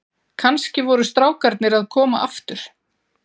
Kannski voru strákarnir að koma aftur.